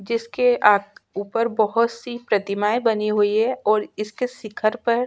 जिसके आक ऊपर बहुत सी प्रतिमाये बनी हुई है और इसके शिखर पर--